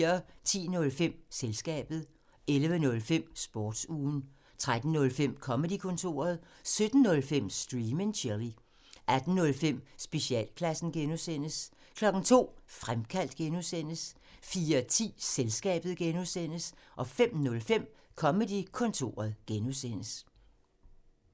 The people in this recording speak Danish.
10:05: Selskabet 11:05: Sportsugen 13:05: Comedy-kontoret 17:05: Stream and chill 18:05: Specialklassen (G) 02:00: Fremkaldt (G) 04:10: Selskabet (G) 05:05: Comedy-kontoret (G)